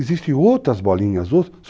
Existem outras bolinhas,